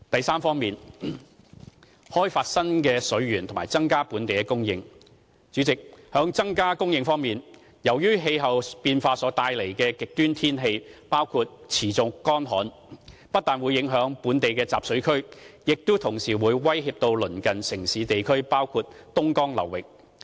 c 開發新的水源和增加本地供應代理主席，在增加供應方面，由於氣候變化所帶來的極端天氣包括持續乾旱，不但影響本地集水區，亦同時威脅鄰近城市地區，包括東江流域。